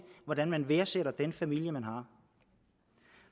hvordan man værdsætter den familie man har